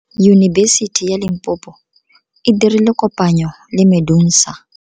Yunibesiti ya Limpopo e dirile kopanyô le MEDUNSA.